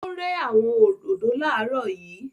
Ó rẹ́ àwọn òdòdó láàrọ̀ yìí